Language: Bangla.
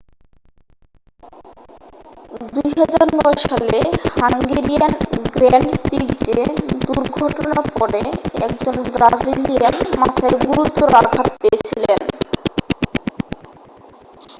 2009 সালে হাঙ্গেরিয়ান গ্র্যান্ড প্রিক্সে দুর্ঘটনার পরে একজন ব্রাজিলিয়ান মাথায় গুরুতর আঘাত পেয়েছিলেন